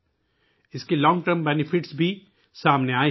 اس کے طویل مدتی فائدے بھی منظر عام پر آچکے ہیں